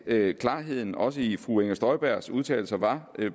at klarheden også i fru inger støjbergs udtalelser var